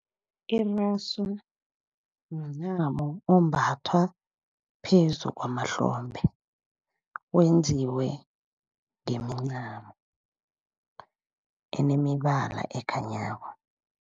Irasu mncamo ombathwa phezu kwamahlombe, wenziwe ngemincamo enemibala ekhanyako.